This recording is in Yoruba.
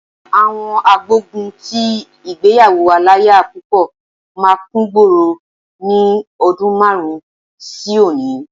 Àwọn agbógun ti ìgbéyàwó aláya púpọ̀ máa kúngboro ní ọdún márùn-ún sí òní.